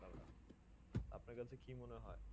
আপনা কাছে কি মনে হয়ে